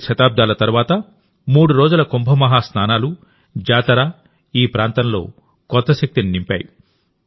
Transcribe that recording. ఏడు శతాబ్దాల తరువాతమూడు రోజుల కుంభ మహాస్నానాలు జాతర ఈ ప్రాంతంలో కొత్త శక్తిని నింపాయి